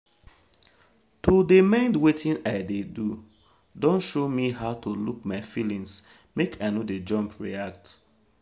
to de mind wetin i de do don show me how to look my feelings make i no de jump react